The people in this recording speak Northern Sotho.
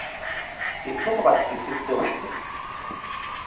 sefe goba sefe seo se